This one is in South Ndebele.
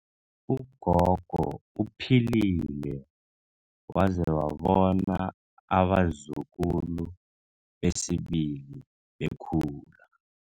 Ugogo uphilile waze wabona abazukulu besibili bekhula.